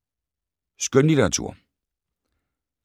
Skønlitteratur